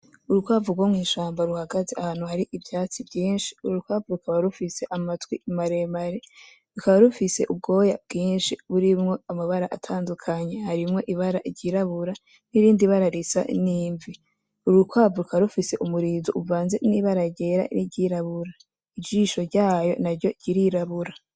Urukwavu rwo mw'ishamba ruhagaze ahantu Hari ivyatsi vyinshi, urwo urukwavu rukaba rufise amatwi maremare, rukaba rufise ubwoya bwinshi burimwo amabara atandukanye, harimwo ibara iryirabura n'irindi bara risa n'imvi, urukwavu rukaba rufise umurizo uvanze n'ibara ryera n'iryirabura. ijisho ryarwo naryo ririrabura.